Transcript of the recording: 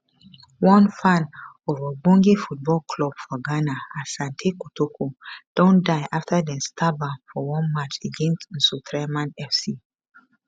one fan of ogbonge football club for ghana asante kotoko don die afta dem stab am for one match against nsoatreman fc